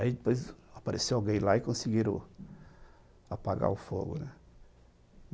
Aí depois apareceu alguém lá e conseguiram apagar o fogo, né?